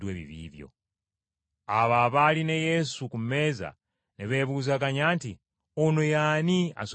Abo abaali ne Yesu ku mmeza ne beebuuzaganya nti, “Ono ye ani asonyiwa n’ebibi?”